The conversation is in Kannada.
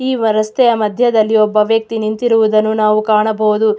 ಈ ರಸ್ತೆಯ ಮದ್ಯದಲ್ಲಿ ಒಬ್ಬ ವ್ಯಕ್ತಿ ನಿಂತಿರುವುದನ್ನು ನಾವು ಕಾಣಬಹುದು.